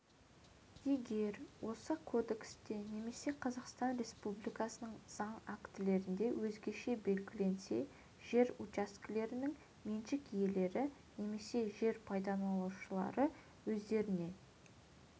егер осы кодексте және қазақстан республикасының заң актілерінде өзгеше белгіленбесе жер учаскелерінің меншік иелері немесе жер пайдаланушылар өздеріне